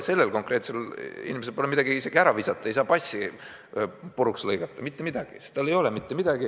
Sellel konkreetsel inimesel pole midagi isegi ära visata, ta ei saa passi puruks lõigata – mitte midagi!